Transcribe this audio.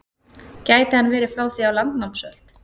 Gæti hann verið frá því á landnámsöld?